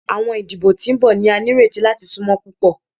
Awọn idibo ti n bọ ni a nireti lati sunmọ pupọ